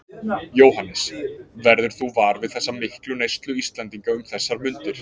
Jóhannes: Verður þú var við þessa miklu neyslu Íslendinga um þessar mundir?